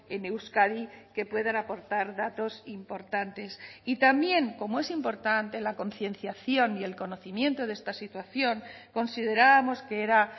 en euskadi que puedan aportar datos importantes y también como es importante la concienciación y el conocimiento de esta situación considerábamos que era